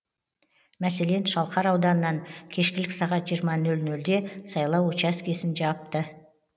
мәселен шалқар ауданынан кешкілік сағат жиырма нөл нөлде сайлау учаскесін жауып